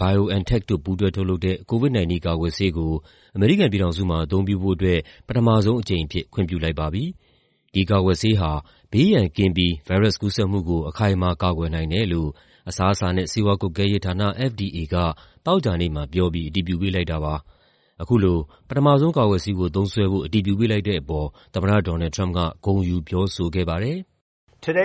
BioNTech တို့ ပူးတွဲထုတ်လုပ်တဲ့ COVID-19 ကာကွယ်ဆေးကို အမေရိကန်ပြည်ထောင်စုမှာ အသုံးပြုဖို့အတွက် ပထမဆုံးအကြိမ်အဖြစ် ခွင့်ပြုလိုက်ပါပြီ။ ဒီကာကွယ်ဆေးဟာ ဘေးရန်ကင်းပြီး ဗိုင်းရပ်စ်ကူးစက်မှုကို အခိုင်အမာ ကာကွယ်နိုင်တယ်လို့ အစားအစာနဲ့ ဆေးဝါးကွပ်ကဲရေးဌာန (FDA) က သောကြာနေ့မှာပြောပြီး အတည်ပြုပေးလိုက်တာပါ။ အခုလို ပထမဆုံး ကာကွယ်ဆေးကို သုံးစွဲဖို့ အတည်ပြုပေးလိုက်တဲ့အပေါ် သမ္မတ Donald Trump က ဂုဏ်ယူပြောဆိုခဲ့ပါတယ်။ "ဒီကနေ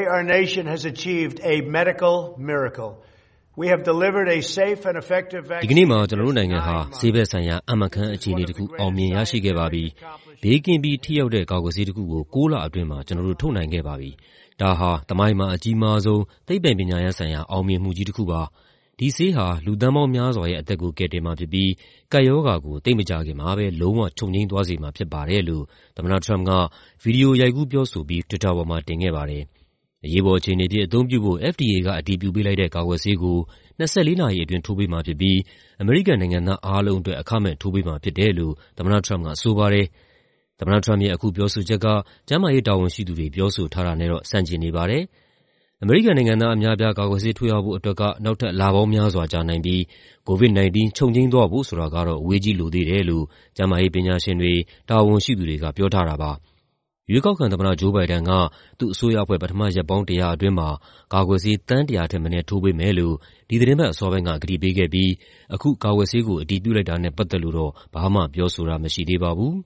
့မှာ ကျနော်တို့နိုင်ငံဟာ ဆေးဘက်ဆိုင်ရာ အံ့မခန်းအခြေအနေတခု အောင်မြင်ရရှိခဲ့ပါပြီ။ ဘေးကင်းပြီး ထိရောက်တဲ့ ကာကွယ်ဆေးတခုကို ၉ လအတွင်းမှာ ကျနော်တို့ ထုတ်နိုင်ခဲ့ပါပြီ။ ဒါဟာ သမိုင်းမှာ အကြီးမားဆုံး သိပ္ပံပညာရပ်ဆိုင်ရာ အောင်မြင်မှုကြီးတခုပါ။ ဒီဆေးဟာ လူသန်းပေါင်းများစွာရဲ့ အသက်ကို ကယ်တင်မှာဖြစ်ပြီး ကပ်ရောဂါကို သိပ်မကြာခင်မှာပဲ လုံးဝချုပ်ငြိမ်းသွားစေမှာ ဖြစ်ပါတယ်။" လို့ သမ္မတ Trump က ဗွီဒီယိုရိုက်ကူးပြောဆိုပြီး တွစ်တာပေါ်မှာ တင်ခဲ့ပါတယ်။ အရေးပေါ်အခြေအနေအဖြစ် အသုံးပြုဖို့ FDA က အတည်ပြုပေးလိုက်တဲ့ ကာကွယ်ဆေးကို ၂၄ နာရီအတွင်း ထိုးပေးမှာဖြစ်ပြီး အမေရိကန်နိုင်ငံသား အားလုံးအတွက် အခမဲ့ထိုးပေးမှာဖြစ်တယ်လို့ သမ္မတက ဆိုပါတယ်။ သမ္မတ Trump ရဲ့ အခုပြောဆိုချက်က ကျန်းမာရေးတာဝန်ရှိသူတွေ ပြောဆိုထားတာနဲ့တော့ ဆန့်ကျင်နေပါတယ်။ အမေရိကန်နိုင်ငံသား အများအပြား ကာကွယ်ဆေး ထိုးရဖို့အတွက်က နောက်ထပ် လပေါင်းများစွာကြာနိုင်ပြီး COVID-19 ချုပ်ငြိမ်းသွားဖို့ ဆိုတာကတော့ အဝေးကြီး လိုသေးတယ်လို့ ကျန်းမာရေးပညာရှင်တွေ၊ တာဝန်ရှိသူတွေက ပြောထားတာပါ။ ရွေးကောက်ခံသမ္မတ Joe Biden က သူ့အစိုးရအဖွဲ့ ပထမရက်ပေါင်း ၁၀၀ အတွင်းမှာ ကာကွယ်ဆေး သန်း ၁၀၀ ထက်မနည်း ထိုးပေးမယ်လို့ ဒီသီတင်းပတ်အစောပိုင်းက ကတိပေးခဲ့ပြီး အခုကာကွယ်ဆေးကို အတည်ပြုလိုက်တာနဲ့ ပတ်သက်လို့တော့ ဘာမှပြောဆိုတာ မရှိသေးပါဘူး